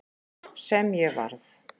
Sem ég varð.